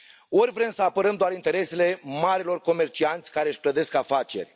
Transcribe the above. Ori vrem să apărăm doar interesele marilor comercianți, care își clădesc afaceri?